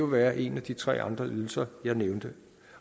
være en af de tre andre ydelser jeg nævnte